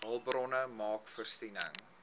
hulpbronne maak voorsiening